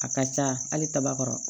A ka ca hali kaba kɔrɔ